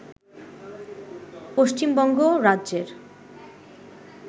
পশ্চিমবঙ্গ রাজ্যের